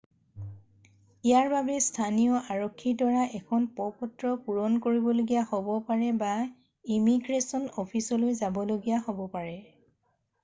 ইয়াৰ বাবে স্থানীয় আৰক্ষীৰ দ্বাৰা এখন প্ৰ-পত্ৰ পূৰণ কৰিবলগীয়া হ'ব পাৰে বা ইমিগ্ৰেশ্বন অ'ফিচলৈ যাবলগীয়া হ'ব পাৰে